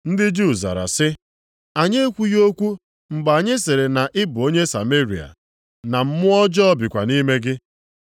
Ndị Juu zara sị, “Anyị e kwughị eziokwu mgbe anyị sịrị na ị bụ onye Sameria, na mmụọ ọjọọ bikwa nʼime gị?”